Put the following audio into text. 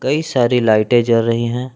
कई सारी लाइटें जल रही हैं।